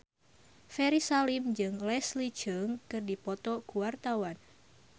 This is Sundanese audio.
Ferry Salim jeung Leslie Cheung keur dipoto ku wartawan